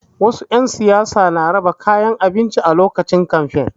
Wasu 'yan siyasa na raba kayan abinci a lokacin kamfe.